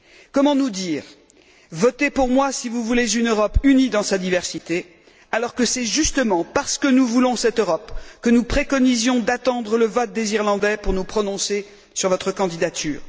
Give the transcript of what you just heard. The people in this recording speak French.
Comment nous dire votez pour moi si vous voulez une Europe unie dans sa diversité, alors que c'est justement parce que nous voulons cette Europe que nous préconisions d'attendre le vote des Irlandais pour nous prononcer sur votre candidature?